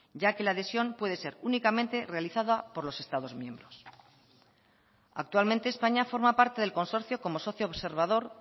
ya que la adhesión puede ser únicamente realizada por los estados miembros actualmente españa forma parte del consorcio como socio observador